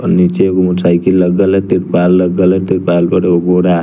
और नीचे ऊ साइकिल अलग अलग हो रहा--